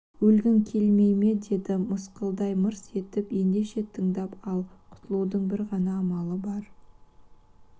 өлігің келмей ме деді мысқылдай мырс етіп ендеше тыңдап ал құтылудың бір ғана амалы бар